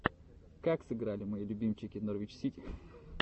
как сыграли мои любимчики норвич сити